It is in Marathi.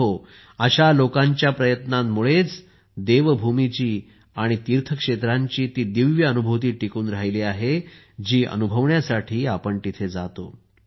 मित्रहो अशा लोकांच्या प्रयत्नांमुळेच देवभूमीचीआणि तीर्थक्षेत्रांची ती दिव्य अनुभूती टिकून राहिली आहे जी अनुभवण्यासाठी आपण तिथे जातो